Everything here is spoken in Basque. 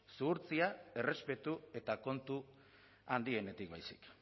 zuhurtzia errespetu eta kontu handienetik baizik